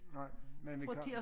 Nej men vi kan